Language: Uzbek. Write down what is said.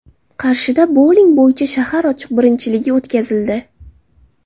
Qarshida bouling bo‘yicha shahar ochiq birinchiligi o‘tkazildi.